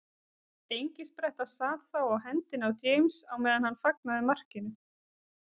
Engispretta sat þá á hendinni á James á meðan hann fagnaði markinu.